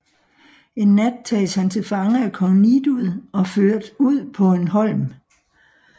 En nat tages han til fange af kong Nidud og ført ud på en holm